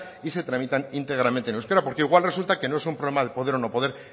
y se tramitan íntegramente en euskera porque igual resulta que no es un problema de poder o no poder